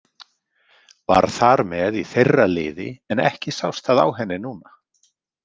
Var þar með í þeirra liði en ekki sást það á henni núna.